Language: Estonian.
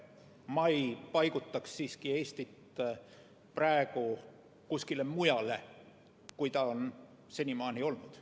Ma ei paigutaks siiski Eestit praegu kuskile mujale, kui ta on senimaani olnud.